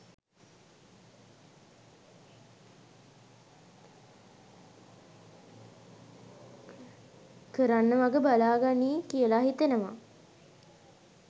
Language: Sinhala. කරන්න වග බලා ගනියි කියල හිතනවා.